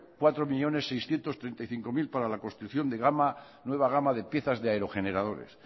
cuatro millónes seiscientos treinta y cinco mil para la construcción de nueva gama de piezas de aerogeneradores